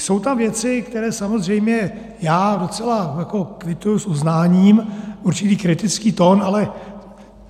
Jsou tam věci, které samozřejmě já docela kvituji s uznáním, určitý kritický tón ale.